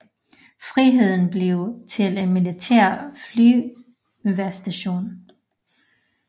Friheden blev til en militær flyvestation